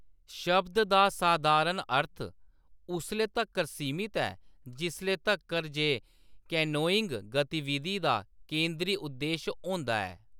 शब्द दा सधारण अर्थ उसले तक्कर सीमत ऐ जिसले तक्कर जे कैनोइंग गतिविधि दा केंदरी उद्देश होंदा ऐ।